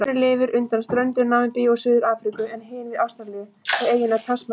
Önnur lifir undan ströndum Namibíu og Suður-Afríku en hin við Ástralíu, við eyjuna Tasmaníu.